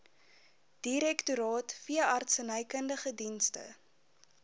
direktoraat veeartsenykundige dienste